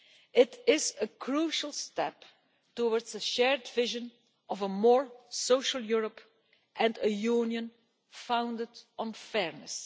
It is a crucial step towards a shared vision of a more social Europe and a Union founded on fairness.